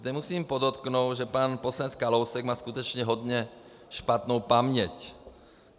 Zde musím podotknout, že pan poslanec Kalousek má skutečně hodně špatnou paměť.